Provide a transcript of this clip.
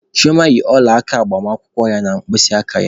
Chioma yi ọla aka agbamakwụkwọ ya na mkpịsị aka ya